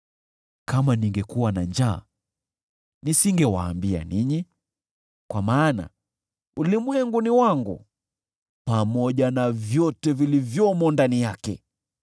Kama ningekuwa na njaa, nisingewaambia ninyi, kwa maana ulimwengu ni wangu, pamoja na vyote vilivyomo ndani yake.